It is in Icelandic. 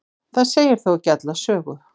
það segir þó ekki alla sögu